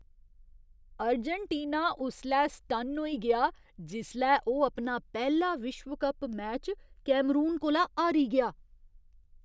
Argentina उसलै सटन्न होई गेआ जिसलै ओह् अपना पैह्ला विश्व कप मैच कैमरून कोला हारी गेआ।